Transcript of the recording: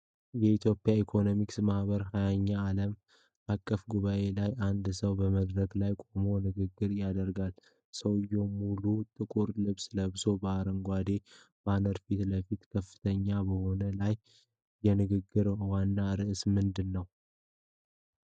የኢትዮጵያ ኢኮኖሚክስ ማኅበር 20ኛ ዓለም አቀፍ ጉባኤ ላይ አንድ ሰው በመድረክ ላይ ቆሞ ንግግር ያደርጋል። ሰውየው ሙሉ ጥቁር ልብስ ለብሶ፣ ከአረንጓዴው ባነር ፊት ለፊት በከፍተኛ ቦታ ላይ ነው፤ የንግግሩ ዋና ርዕስ ምንድን ነው?